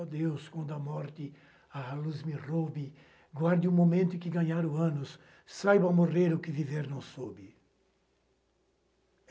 Ó Deus, quando a morte a luz me roube, ganhe num momento em que ganharam anos, saiba morrer o que viver não soube.